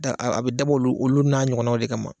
A bɛ dabɔ olu olu n'a ɲɔgɔnnaw de kama